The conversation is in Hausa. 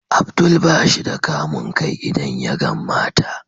Abdul bashi da kamun kai idan yagan mata.